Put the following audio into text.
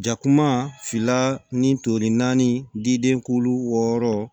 Jakuma fila ni toli naani diden kulu wɔɔrɔ